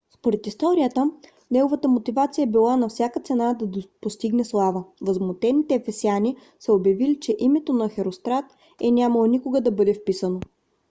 според историята неговата мотивация е била на всяка цена да постигне слава. възмутените ефесяни са обявили че името на херострат е нямало никога да бъде вписано